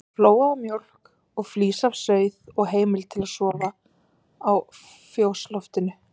Fær flóaða mjólk og flís af sauð og heimild til að sofa á fjósloftinu.